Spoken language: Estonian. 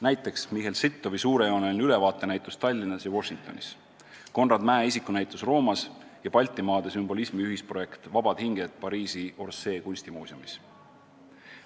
Näiteks Michel Sittow' suurejooneline ülevaatenäitus Tallinnas ja Washingtonis, Konrad Mäe isikunäitus Roomas ja Baltimaade sümbolismi ühisprojekt "Vabad hinged" Pariisi Orsay kunstimuuseumis.